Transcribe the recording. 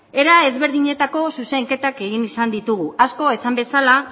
era desberdinetako zuzenketak egin izan ditugu asko esan bezala